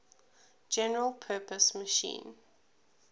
general purpose machine